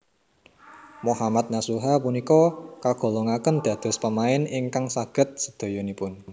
Mohammad Nasuha punika kagolongaken dados pemain ingkang saged sedayanipun